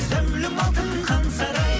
зәулім алтын хан сарай